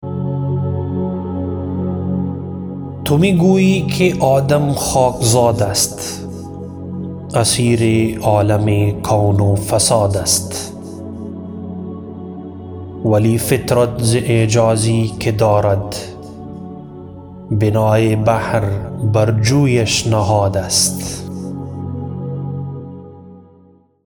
تو میگویی که آدم خاکزاد است اسیر عالم کون و فساد است ولی فطرت ز اعجازی که دارد بنای بحر بر جویش نهاد است